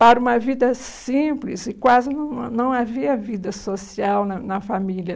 para uma vida simples e quase não não havia vida social na na família.